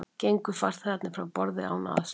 Gengu farþegarnir frá borði án aðstoðar